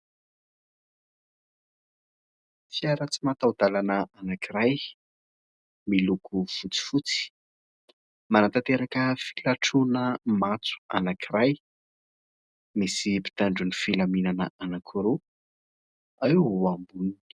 Fiara tsy mataho-dalana anankiray miloko fotsifotsy, manatanteraka filatrona matso anankiray. Misy mpitandron'ny filaminana anankiroa eo amboniny.